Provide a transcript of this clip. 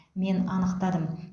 мен анықтадым